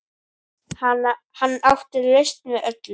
Hann átti lausn við öllu.